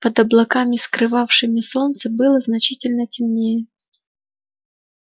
под облаками скрывавшими солнце было значительно темнее